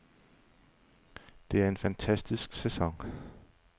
Det er en fantastisk sæson.